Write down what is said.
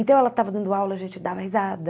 Então, ela estava dando aula, a gente dava risada.